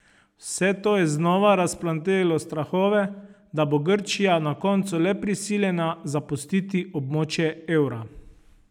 Vse to je znova razplamtelo strahove, da bo Grčija na koncu le prisiljena zapustiti območje evra.